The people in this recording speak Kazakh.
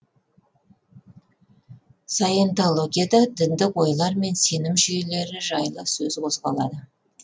саентологияда діндік ойлар мен сенім жүйелері жайлы сөз қозғалады